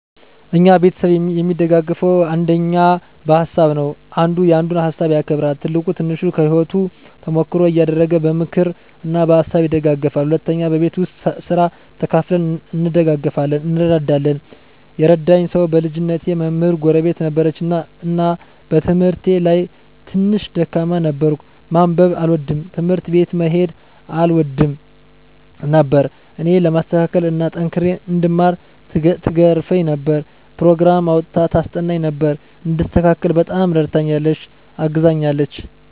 እኛ ቤተሰብ እሚደጋገፈዉ አንደኛ በሀሳብ ነዉ። አንዱ ያንዱን ሀሳብ ያከብራል፣ ትልቁ ትንሹን ከህይወቱ ተሞክሮ እያደረገ በምክር እና በሀሳብ ይደግፉናል። ሁለተኛ በቤት ዉስጥ ስራ ተከፋፍለን እንደጋገፋለን (እንረዳዳለን) ። የረዳኝ ሰዉ በልጅነቴ መምህር ጎረቤት ነበረችን እና በትምህርቴ ላይ ትንሽ ደካማ ነበርኩ፤ ማንበብ አልወድም፣ ትምህርት ቤት መሄድ አልወድም ነበር እኔን ለማስተካከል እና ጠንክሬ እንድማር ትገርፈኝ ነበር፣ ኘሮግራም አዉጥታ ታስጠናኝ ነበር፣ እንድስተካከል በጣም እረድታኛለች(አግዛኛለች) ።